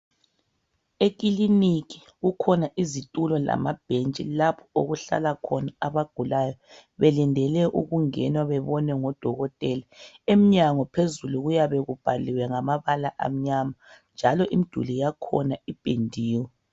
Ekiliniki kukhona izitulo lamabhentshi lapho okuhlala khona abagulayo belindele ukungena bebonwe ngodokotela emnyango phezulu kuyabe kubhaliwe ngamabala amnyama njalo imiduli yakhona ipendiwe.